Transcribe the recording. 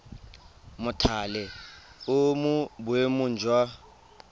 mothale o mo boemong jwa